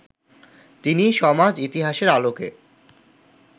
তিনি সমাজ-ইতিহাসের আলোকে